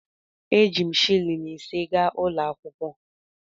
Eji m shịlịn ise gaa ụlọ akwụkwọ.